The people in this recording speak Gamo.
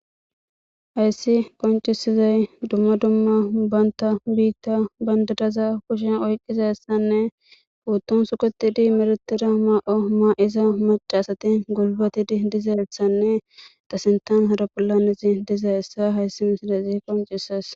Hayssi qoncisizay dumma dumma banta biitta bandiraza kushen oyqqizayisanne puutton suketidi meratira ma'o maa'iza macasati gulbatidi dizaelssanne ta sintan harapollanesi diza hessa hayssi miside zi koncises.